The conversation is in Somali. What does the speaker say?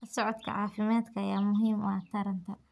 La socodka caafimaadka ayaa muhiim u ah taranta.